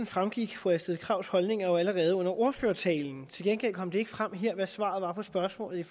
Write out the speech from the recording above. fremgik fru astrid krags holdninger jo allerede under ordførertalen til gengæld kom det ikke frem her hvad svaret er på spørgsmålet